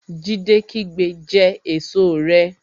Jídé kígbe Jẹ èso rẹ!